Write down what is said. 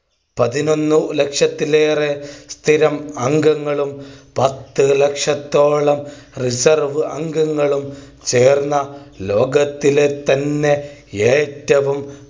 പതിനൊന്നു ലക്ഷത്തിലേറെ സ്ഥിരം അംഗങ്ങളും പത്തു ലക്ഷത്തോളം reserve അംഗങ്ങളും ചേർന്ന ലോകത്തിലെ തന്നെ ഏറ്റവും